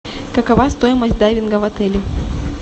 какова стоимость дайвинга в отеле